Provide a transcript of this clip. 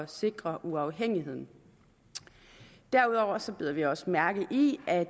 sikre uafhængigheden derudover bider vi også mærke i at